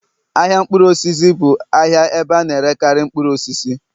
ahịa mkpụrụ osisi bụ ahịa ebe a na-erekarị mkpụrụ osisi